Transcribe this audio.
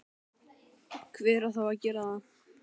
hver á þá að gera það?